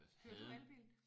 Kører du elbil?